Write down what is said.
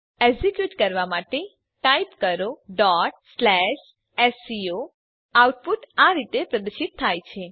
execute કરવા માટે type કરો sco એન્ટર દબાવો આઉટપુટ આ રીતે પ્રદર્શિત થાય છે